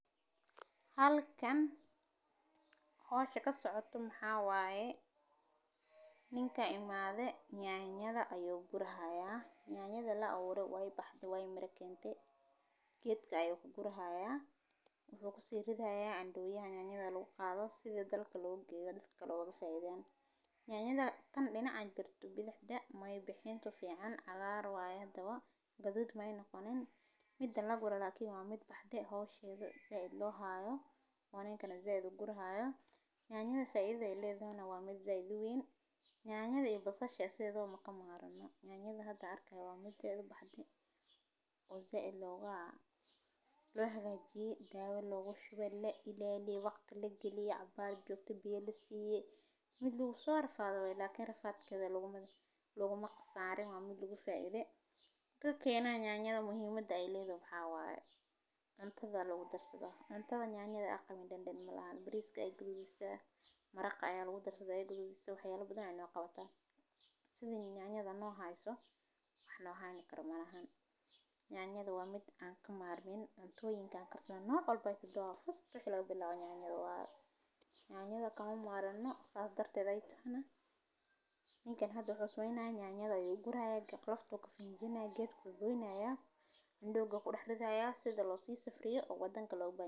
Halkan hoosh ka socoto maxawaaye. Ninka in maade nyaanyada ayuu gurahayaa, nyaanyada la 3ad waay baxda waay mira keente geedka ayuu ku gurahayaa u ku sirri dayaa can dhaw yahaa nyaanyada luu qaado sida dal ka loo gaarid kaloo waa faa'iidayn. Naanyada tan leenac ajjartu bidix da' may bixin tufiican cagaar waaya hadawaa gadud may nukliin. Mid dan la gurado laakiin waa mid baxdee hoos yeedho zay loo haayo. Waa hay kana zayd gurahayoo nyaanyada faa'iiday ileydo waa mid zaydu weyn. Naanyada ibuusashii asidoo ma ka maarnaa nyaanyada hadda arkay waa mid zayd baxdee oo zedloogaa lagaga ji daawo loogu shubay la ileeyee waqti la geliye cabbaaj joogtii biyyee siiye. Mid lugu soo arfaado way laakiin rafaadkooda laguma laguma qasaarin waa mid lugu faa'iiday. Ka keenaa nyaanyada muhiimada ileydo xawaaye untaada loogu darsado untaba nyaanyada aqmi dhan dhan malahad bariiska ay gudbiyaa maraqce ayaa ugu darsada ay gudbiyaa waxyaalo badan ay noqota. Sidin nyaanyada noo haayso wax la haayin karo mar ahaan. Naanyada waa mid aan ka maarmeen tooyinka karto noqon bay tudoo fadhi lagu bilowaa naanyada waa naanyada kama maaran oo saas darteed ay tana. In kana hadoo xusu inaa nyaanyada u guray ilqak laftu ka fiin jinaa geedka loo dooyinaya andooga ku dhexdayaa sida loo sii safriyo oggaddan loogu baaray.